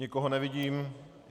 Nikoho nevidím.